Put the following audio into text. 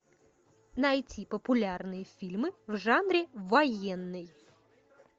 найти популярные фильмы в жанре военный